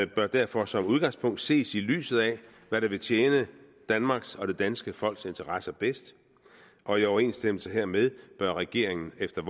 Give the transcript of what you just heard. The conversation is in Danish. bør derfor som udgangspunkt ses i lyset af hvad der vil tjene danmarks og det danske folks interesser bedst og i overensstemmelse hermed bør regeringen efter